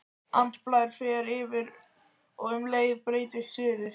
Andblær fer yfir og um leið breytist sviðið.